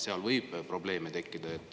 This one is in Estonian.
Seal võib probleeme tekkida.